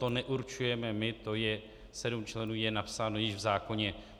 To neurčujeme my, to je, sedm členů je napsáno již v zákoně.